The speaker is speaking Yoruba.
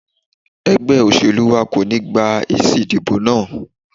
Ẹgbẹ́ olóṣèlú wa kò ní gba èsì ìdìbò náà.